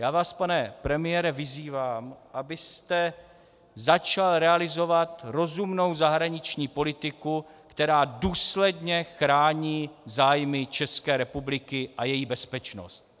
Já vás, pane premiére, vyzývám, abyste začal realizovat rozumnou zahraniční politiku, která důsledně chrání zájmy České republiky a její bezpečnost.